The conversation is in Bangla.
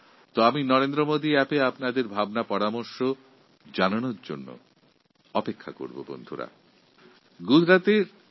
তাহলে বন্ধুরা আমি নরেন্দ্র মোদী অ্যাপএর মাধ্যমে যুব উৎসব সম্পর্কে আপনাদের মতামতের অপেক্ষায় রইলাম